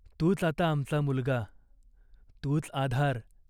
तूच आता आमचा मुलगा. तूच आधार.